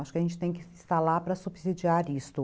Acho que a gente tem que estar lá para subsidiar isto.